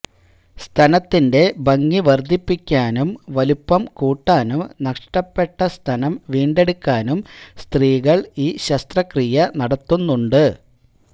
സ്തനത്തിന്റെ ഭംഗി വര്ധിപ്പിക്കാനും വലുപ്പം കൂട്ടാനും നഷ്ടപ്പെട്ട സ്തനം വീണ്ടെടുക്കാനും സ്ത്രീകള് ഈ ശസ്ത്രക്രിയ നടത്തുന്നുണ്ട്